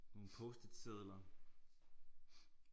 Nogle post-it sedler